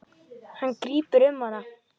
Hann grípur um hana.